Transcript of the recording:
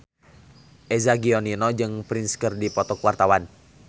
Eza Gionino jeung Prince keur dipoto ku wartawan